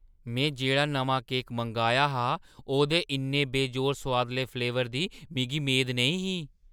में जेह्ड़ा नमां केक मंगाया हा, ओह्दे इन्ने बेजोड़ सोआदले फ्लेवर दी मिगी मेद नेईं ही।